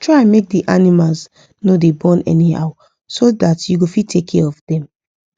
try make the animals no da born anyhow so dat u go fit take care of them